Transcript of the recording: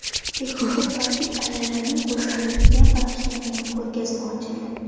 Pekinda tojik ayollarining go‘zalligiga bag‘ishlangan ko‘rgazma ochildi .